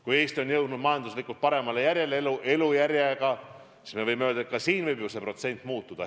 Kui Eesti on jõudnud majanduslikult paremale järjele, siis me võime öelda, et ka see protsent võib muutuda.